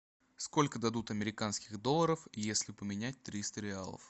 сколько дадут американских долларов если поменять триста реалов